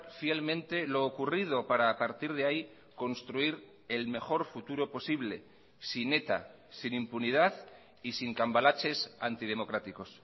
fielmente lo ocurrido para a partir de ahí construir el mejor futuro posible sin eta sin impunidad y sin cambalaches antidemocráticos